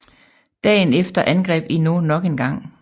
Dagen efter angreb Hinault nok engang